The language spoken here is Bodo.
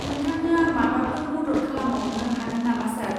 नोंथांनो आं माबाफोर मदद खालामबावनो हागोन नामा, सार?